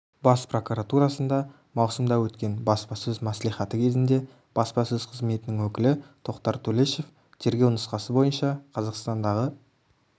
бас прокуратурасында маусымда өткен баспасөз мәслихаты кезінде баспасөз қызметінің өкілі тоқтар төлешов тергеу нұсқасы бойынша қазақстандағы